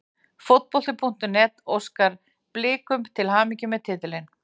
Fótbolti.net óskar Blikum til hamingju með titilinn.